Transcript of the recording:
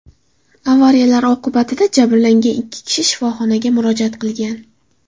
Avariyalar oqibatida jabrlangan ikki kishi shifoxonaga murojaat qilgan.